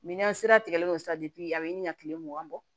an sera tigɛlen don sisan a bɛ ɲini ka kile mugan bɔ